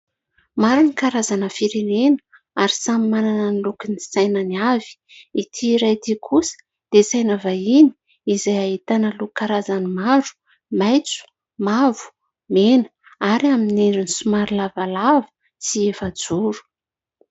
Maro ny karazana firenena ary samy manana ny lokon' ny sainany àvy. Ity iray ity kosa dia saina vahiny izay ahitana loko karazany maro: maintso, mavo, mena ary amin'ny endrin'ny somary lavalava sy efajoro.